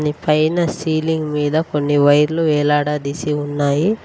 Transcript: నీ పైన సీలింగ్ మీద కొన్ని వైర్లు వేలాడదీసి ఉన్నాయి.